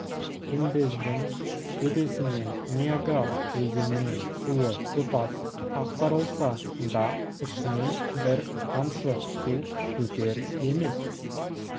күмбездің төбесінен ниагар өзенінің суы тұтас ақтарылса да ішіне бір тамшы су өтер емес